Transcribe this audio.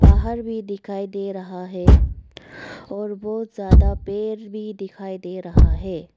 बाहर भी दिखाई दे रहा है और बहुत ज्यादा पेड़ भी दिखाई दे रहा है।